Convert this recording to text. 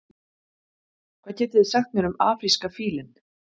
hvað getið þið sagt mér um afríska fílinn